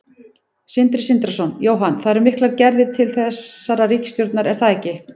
Sindri Sindrason: Jóhann, það eru miklar gerðar til þessarar ríkisstjórnar er það ekki?